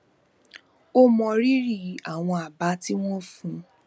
ó mọrírì àwọn àbá tí wón fún un